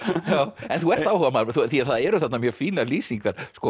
en þú ert áhugamaður því það eru þarna mjög fínar lýsingar